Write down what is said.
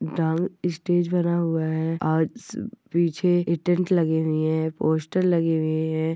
Dance ई stage बना हुआ है आज स उ ब पीछे ए टेन्ट लगे हुए है पोस्टर लगे हुए है।